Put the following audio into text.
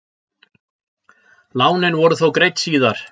lánin voru þó greidd síðar